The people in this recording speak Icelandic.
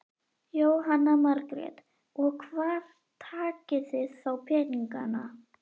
Jóhanna Margrét: Og hvar takið þið þá peninga?